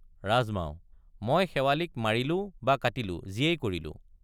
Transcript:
ৰাজমাও মই শেৱালিক মাৰিলো বা কাটিলো যিয়েই কৰিলো।